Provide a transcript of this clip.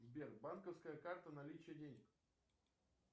сбер банковская карта наличие денег